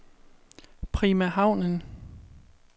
Prima Havnen